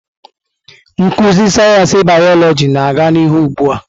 Nkuzi sayensị bịyọlojị na-aga n'ihu ugbu a.